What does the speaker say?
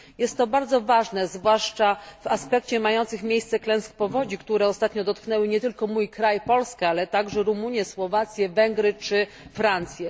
Jest to bardzo ważne, zwłaszcza w aspekcie mających miejsce klęsk powodzi, który ostatnio dotknęły nie tylko mój kraj, Polskę, ale również Rumunię, Słowację, Węgry czy Francję.